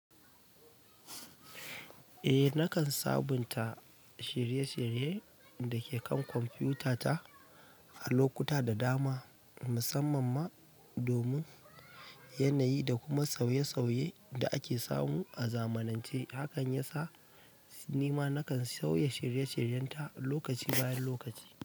Eh nakan sabunta shirye-shirye da ke kan kwamfuta ta a lokuta da dama, musamman ma domin yanayi da kuma sauye-sauye da ake samu a zamanance. Hakan ya sa nima nakan sauya shirye-shiryenta lokaci bayan lokaci.